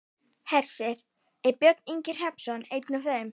Hersir: Er Björn Ingi Hrafnsson einn af þeim?